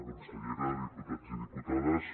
consellera diputats i diputades